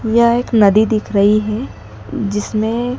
यह एक नदी दिख रही है जिसमें --